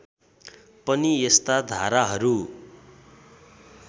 पनि यस्ता धाराहरू